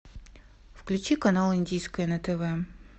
включи канал индийское на тв